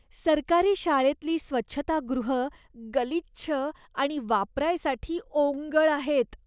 सरकारी शाळेतली स्वच्छतागृहं गलिच्छ आणि वापरायसाठी ओंगळ आहेत.